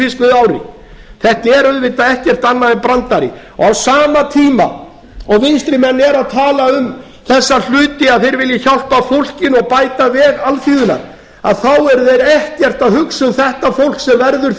fiskveiðiári þetta er auðvitað ekkert annað en brandari á sama tíma og vinstrimenn eru að tala um þessa hluti að þeir vilji hjálpa fólkinu og bæta veg alþýðunnar eru þeir ekkert að hugsa um þetta fólk sem verður